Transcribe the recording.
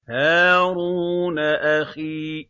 هَارُونَ أَخِي